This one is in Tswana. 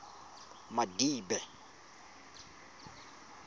madibe